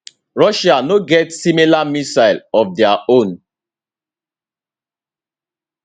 russia no get similar missile of dia own